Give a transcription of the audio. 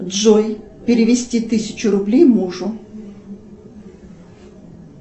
джой перевести тысячу рублей мужу